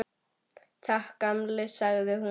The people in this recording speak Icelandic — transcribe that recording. Takk, gamli, sagði hún.